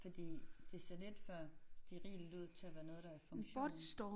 Fordi det ser lidt for sterilt ud til at være noget der i funktion